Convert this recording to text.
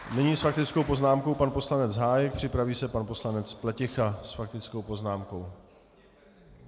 Nyní s faktickou poznámkou pan poslanec Hájek, připraví se pan poslanec Pleticha s faktickou poznámkou.